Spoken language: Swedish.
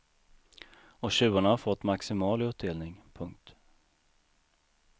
Och tjuvarna har fått maximal utdelning. punkt